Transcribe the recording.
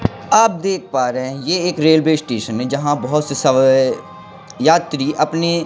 आप देख पा रहें हैं ये एक रेलवे स्टेशन हैं जहाँ बहोत से सब वे यात्री अपनी--